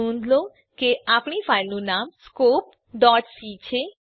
નોંધ લો કે આપણી ફાઈલનું નામ scopeસી છે